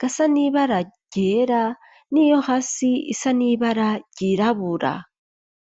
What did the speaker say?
gasa nibara ryera n'iyo hasi isa nibara ryirabura.